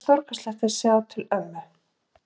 Það var stórkostlegt að sjá til ömmu.